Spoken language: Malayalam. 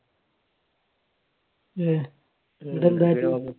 ഏർ എന്നിട്ട് എന്താക്കി